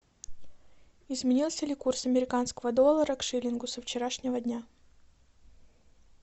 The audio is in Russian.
изменился ли курс американского доллара к шиллингу со вчерашнего дня